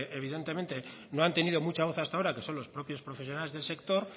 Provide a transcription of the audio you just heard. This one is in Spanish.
evidentemente no han tenido mucha voz hasta ahora que son los propios profesionales del sector